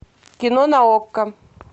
кино на окко